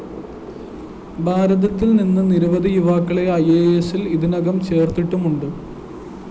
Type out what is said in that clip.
ഭാരതത്തില്‍ നിന്ന് നിരവധി യുവാക്കളെ ഐഎസില്‍ ഇതിനകം ചേര്‍ത്തിട്ടുമുണ്ട്